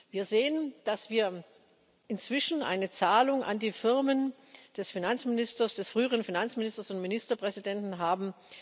Wir sehen, dass wir inzwischen eine Zahlung an die Firmen des früheren Finanzministers und Ministerpräsidenten haben.